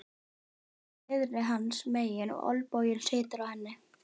Rúðan er niðri hans megin og olnboginn situr á henni.